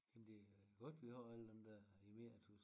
Jamen det er godt at vi har alle dem der emeritus